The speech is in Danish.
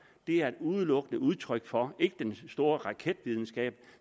er udelukkende udtryk for ikke den store raketvidenskab